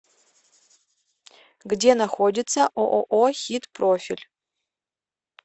где находится ооо хит профиль